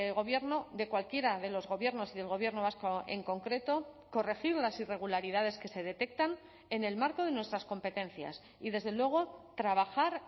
gobierno de cualquiera de los gobiernos y del gobierno vasco en concreto corregir las irregularidades que se detectan en el marco de nuestras competencias y desde luego trabajar